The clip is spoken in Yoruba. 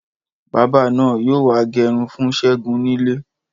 Bábà náà yóò wá gẹrun fún Ṣẹ́gun nílé